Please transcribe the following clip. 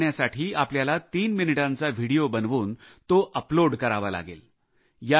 यात भाग घेण्यासाठी आपल्याला तीन मिनिटांचा व्हिडिओ बनवून तो अपलोड करावा लागेल